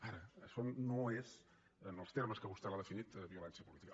ara això no és en els termes que vostè l’ha definit violència política